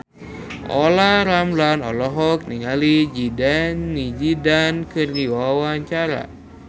Olla Ramlan olohok ningali Zidane Zidane keur diwawancara